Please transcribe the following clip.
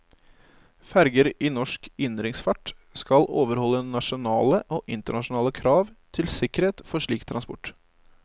Ferger i norsk innenriksfart skal overholde nasjonale og internasjonale krav til sikkerhet for slik transport.